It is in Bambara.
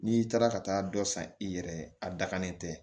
N'i taara ka taa dɔ san i yɛrɛ ye a dakannen tɛ